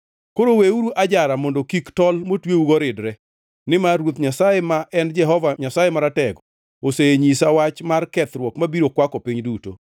Koro weuru ajara mondo kik tol motweugo ridre, nimar Ruoth Nyasaye ma en Jehova Nyasaye Maratego, osenyisa wach mar kethruok mabiro kwako piny duto.